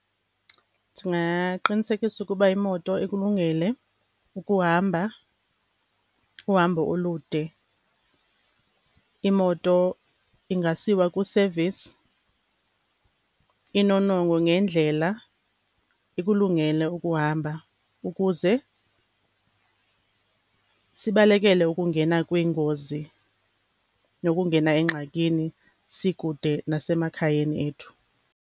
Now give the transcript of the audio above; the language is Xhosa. Ndingaqinisekisa ukuba imoto ikulungele ukuhamba uhambo olude. Imoto ingasiwa kwi-service, inonongwe ngendlela, ikulungele ukuhamba ukuze sibalekele ukungena kwiingozi, nokungena engxakini sikude nasemakhayeni ethu.